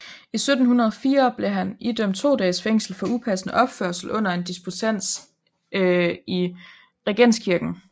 I 1704 blev han idømt to dages fængsel for upassende opførsel under en disputats i Regenskirken